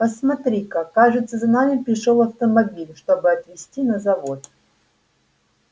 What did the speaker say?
посмотри-ка кажется за нами пришёл автомобиль чтобы отвезти на завод